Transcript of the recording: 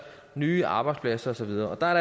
nye arbejdspladser og så videre og der er